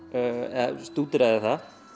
eða stúderaði það